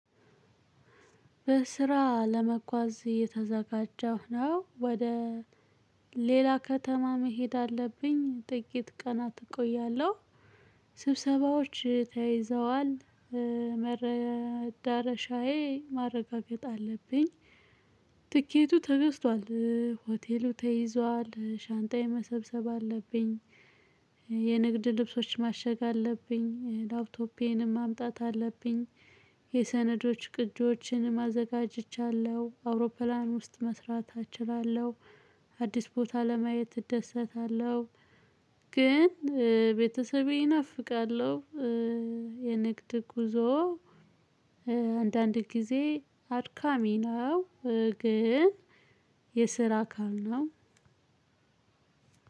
በስራ ለመጓዝ እየተዘጋጀሁ ነው ወደ ሌላ ከተማ መሄድ አለብኝ ጥቂት ቀናት እቆያለሁ። ስብሰባዎች ተይዘዋል መረዳረሻዬ ማረጋገጥ አለብኝ። ትኬቱ ተገዝቷል ሆቴሉ ተይዟል ሻንጣዬን መሰብሰብ አለብኝ። የንግድ ልብሶች ማሸግ አለብኝ ላፕቶፔንም ማምጣት አለብኝ። የሰነዶች ቅጂዎችንም አዘጋግጅቻለሁ አውሮፕላን ውስጥ መስራት አችላለሁ። አዲስ ቦታ ለማየት እደሰታለሁ። ግን ቤተሰቤ እናፍቃለሁ። የንግድ ጉዞ የንግድ ልብሶች ማሸግ አለብኝ ላፕቶፔንም ማምጣት አለብኝ።